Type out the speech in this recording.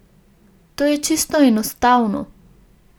To je čisto enostavno.